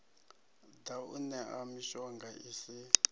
ḓa u ṋea mishonga isi